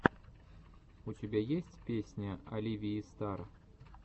у тебя есть песня оливии стар